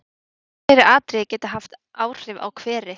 Ýmis fleiri atriði geta haft áhrif á hveri.